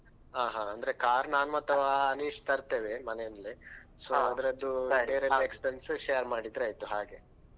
ಹ ಹ ಅಂದ್ರೆ car ನಾನ್ ಮತ್ತೆ ಅವ ಅನಿಶ್ ತರ್ತೇವೆ ಮನೆಯಿಂದ್ಲೇ so ಅದ್ರ~ ಅದ್ರದ್ದು ಬೇರೆಲ್ಲ expense share ಮಾಡಿದ್ರಾಯ್ತು ಹ ಹಾಗೆ